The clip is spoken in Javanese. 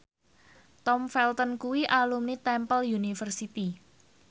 Tom Felton kuwi alumni Temple University